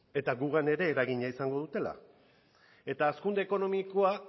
eta guregan ere eragina izango dutela eta hazkunde ekonomikoa